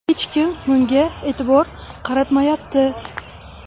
Hech kim bunga e’tibor qaratmayapti.